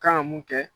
Kan ka mun kɛ